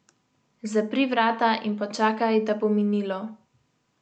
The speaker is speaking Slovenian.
Zapri vrata in počakaj, da bo minilo.